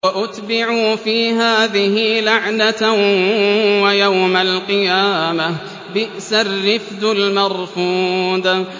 وَأُتْبِعُوا فِي هَٰذِهِ لَعْنَةً وَيَوْمَ الْقِيَامَةِ ۚ بِئْسَ الرِّفْدُ الْمَرْفُودُ